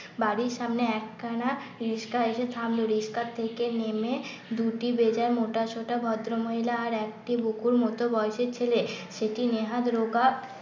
বাড়ির সামনে একখানা রিসকা এসে থামলো রিস্কা থেকে নেমে দুটি বেজায় মোটা শোটা ভদ্রমহিলা আর একটি বুকুর মত বয়সের ছেলে সেটি নেহাত রোগা